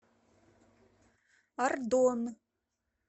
ардон